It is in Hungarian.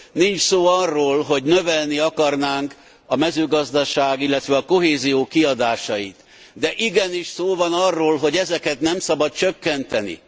Nincs szó arról, hogy növelni akarnánk a mezőgazdaság, illetve a kohézió kiadásait, de igenis szó van arról, hogy ezeket nem szabad csökkenteni.